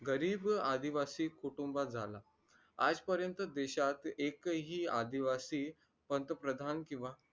गरीब आदिवासी कुटुंबात झाला आजपर्यंत देशात एकही आदिवासी पंतप्रधान किंवा